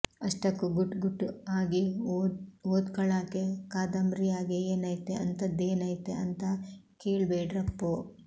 ಅಷ್ಟಕ್ಕೂ ಗುಟ್ ಗುಟ್ ಆಗಿ ಓದ್ಕಳಾಕೆ ಕಾದಂಬ್ರಿಯಾಗೆ ಏನೈತೆ ಅಂಥದ್ದೇನೈತೆ ಅಂತ ಕೇಳ್ಬೇಡ್ರಪ್ಪೋ